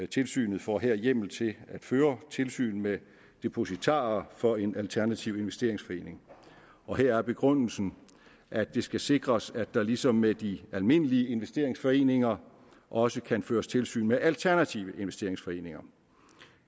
tilsynet får her hjemmel til at føre tilsyn med depositarer for en alternativ investeringsforening og her er begrundelsen at det skal sikres at der ligesom med de almindelige investeringsforeninger også kan føres tilsyn med alternative investeringsforeninger